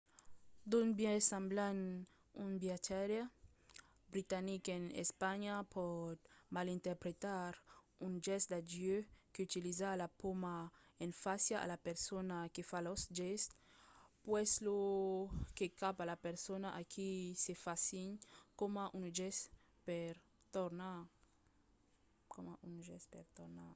d'un biais semblant un viatjaire britanic en espanha pòt malinterpretar un gèst d'adieu qu'utiliza la pauma en fàcia a la persona que fa lo gèst puslèu que cap a la persona a qui se fa signe coma un gèst per tornar